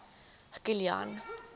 kilian